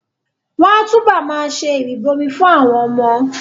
Wọ́n á túbọ̀ ma ṣe ìrìbọmi fún àwọn ọmọ